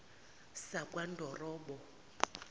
sakwandorobo